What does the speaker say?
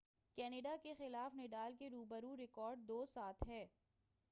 Canada کا خلاف Nadal کے رو برو ریکارڈ 7-2 ہے